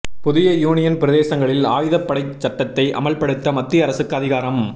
புதிய யூனியன் பிரதேசங்களில் ஆயுதப் படைச் சட்டத்தை அமல்படுத்த மத்திய அரசுக்கு அதிகாரம்